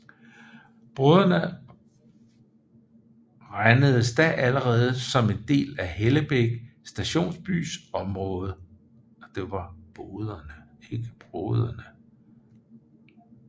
Boderne regnedes da allerede som en del af Hellebæk stationsbys område